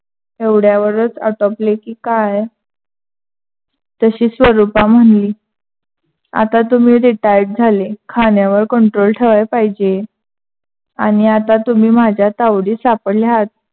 एवढयावरच आटोपले की काय. तशी स्वरूपा म्हनली आता तुम्ही retired झाले, खान्‍यावर control ठेवायला पाहिजे आणि आता तुम्ही माझ्या तावडीत सापडले आहात.